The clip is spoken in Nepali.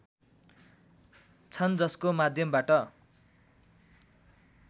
छन् जसको माध्यमबाट